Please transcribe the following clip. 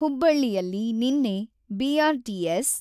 ಹುಬ್ಬಳ್ಳಿಯಲ್ಲಿ ನಿನ್ನೆ ಬಿ.ಆರ್.ಟಿ.ಎಸ್.